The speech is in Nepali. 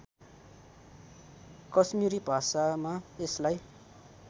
कश्मीरी भाषामा यसलाई